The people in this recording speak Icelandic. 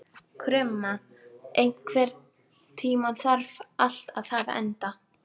Krumma, einhvern tímann þarf allt að taka enda.